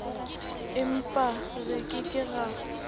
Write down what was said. empa re ke ke ra